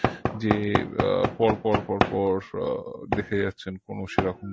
যে আহ পরপর পরপর আহ দেখেই যাচ্ছেন কোনো সেরকম